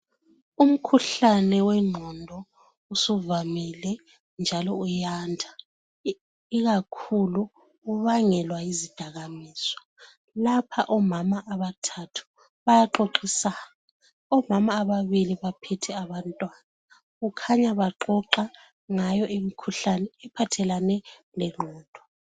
Umkhuhlane wenqondo usuvamile njalo uyanda kubangelwa yizidakamizwa lapha omama abathathu bayaxoxisana omama ababili baphethe abantwana kukhanya baxoxa ngayo imkhuhlane ephathelane lengqondo